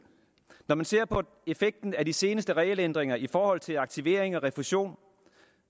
når man ser på effekten af de seneste regelændringer i forhold til aktivering og refusion